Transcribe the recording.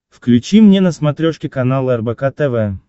включи мне на смотрешке канал рбк тв